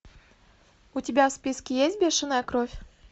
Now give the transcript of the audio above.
у тебя в списке есть бешеная кровь